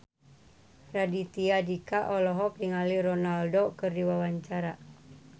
Raditya Dika olohok ningali Ronaldo keur diwawancara